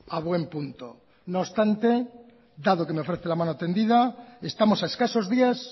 a buen punto no obstante dado que me ofrece la mano tendida estamos a escasos días